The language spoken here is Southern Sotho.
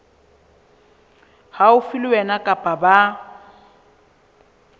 haufi le wena kapa ba